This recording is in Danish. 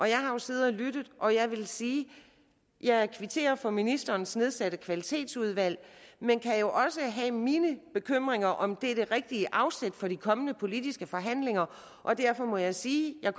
jeg har siddet og lyttet og jeg vil sige at jeg kvitterer for ministerens nedsatte kvalitetsudvalg men kan jo også have mine bekymringer for om det er det rigtige afsæt for de kommende politiske forhandlinger og derfor må jeg sige at